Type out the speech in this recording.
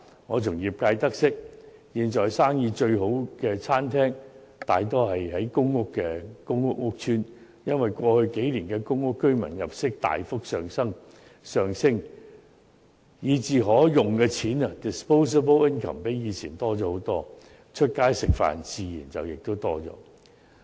我從業界得悉，現在生意最好的餐廳，大多位於公共屋邨，因為過去數年公屋居民入息大幅上升，以致可動用的金錢遠多於過往，他們外出用膳的次數自然更多。